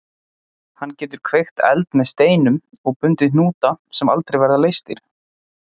Hann getur kveikt eld með steinum og bundið hnúta sem aldrei verða leystir.